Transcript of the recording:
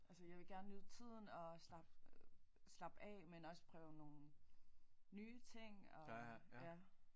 Altså jeg vil gerne nyde tiden og slap slappe af men også prøve nogen nye ting og ja